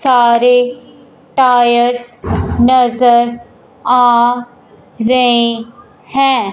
सारे टायर्स नजर आ रहे हैं।